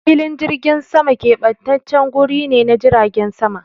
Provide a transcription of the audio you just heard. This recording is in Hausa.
Filin jirgin sama kebantaccen guri ne na jiragen sama.